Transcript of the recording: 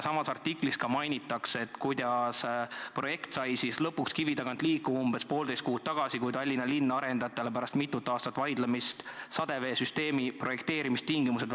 Samas artiklis mainitakse, kuidas projekt sai lõpuks kivi tagant liikuma umbes poolteist kuud tagasi, kui Tallinna linn väljastas arendajatele pärast mitut aastat vaidlemist sadeveesüsteemi projekteerimistingimused.